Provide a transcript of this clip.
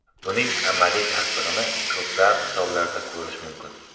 Buning amaliy tasdig‘ini ko‘plab misollarda ko‘rish mumkin.